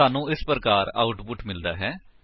ਸਾਨੂੰ ਇਸ ਪ੍ਰਕਾਰ ਆਉਟਪੁਟ ਮਿਲਦਾ ਹੈ